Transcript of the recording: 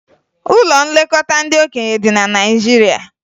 Ụlọ nlekọta ndị okenye dị na Naịjirịa